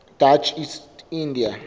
dutch east india